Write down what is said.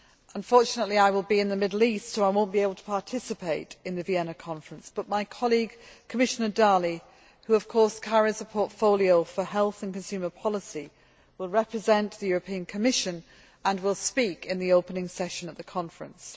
Unfortunately, I will be in the Middle East, so I will not be able to participate in the Vienna conference, but my colleague, Commissioner Dalli, who of course carries a portfolio for health and consumer policy, will represent the European Commission and will speak at the opening session of the conference.